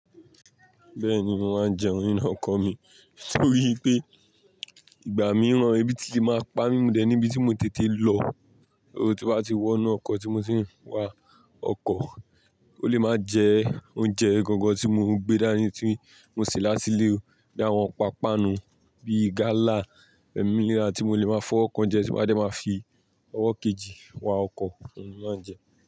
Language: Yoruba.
Bẹ́ẹ̀ni, mo máa jẹun inú ọkọ̀ mi nítorí pé ìgbà mìíràn èébì ti máa pa mí mo dẹ̀ ẹ́ níbi tí mo tètè lọ óò tí bá ti wọnú ọkọ̀ tí mo ti ń wà. Ọkọ̀ ó lè máa jẹ oúnjẹ gangan tí mò ń gbé dání tí mò ń se látílè o bíi àwọn pàpá nu bíi gálà, ẹ́ mílíra tí mò lè máa fí ọwọ kàn jẹ tí màá dẹ̀ máa fi ọwọ́ kejì wá ọkọ̀, òun ni máa jẹ ẹ́.